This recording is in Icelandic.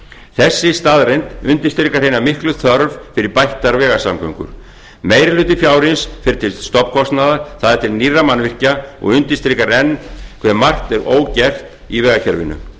þessi staðreynd undirstrikar hina miklu þörf fyrir bættar vegasamgöngur meiri hluti fjárins fer til stofnkostnaðar það er til nýrra mannvirkja og undirstrikar enn hve margt er ógert í vegakerfinu